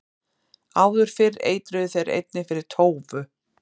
áður fyrr eitruðu þeir einnig fyrir tófu